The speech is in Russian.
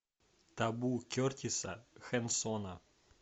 табу кертиса хенсона